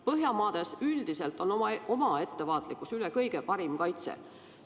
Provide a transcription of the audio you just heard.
Põhjamaades üldiselt on oma ettevaatlikkus üle kõige parim kaitse.